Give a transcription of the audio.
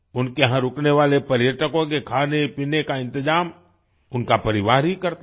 उनके यहाँ रुकने वाले पर्यटकों के खानेपीने का इंतजाम उनका परिवार ही करता है